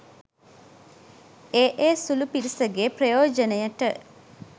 ඒ ඒ සුළු පිරිසගේ ප්‍රයෝජනයට.